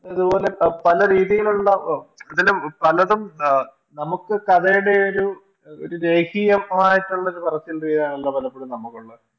പല രീതിയിലുള്ള ഇതില് പലതും എ നമുക്ക് കഥയുടെയൊരു ഒരു ഏകീയമായിട്ടുള്ള ഒരു ചിന്തയാണ് പലപ്പോഴും നമുക്കുള്ളത്